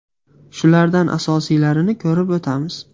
Shulardan asosiylarini ko‘rib o‘tamiz.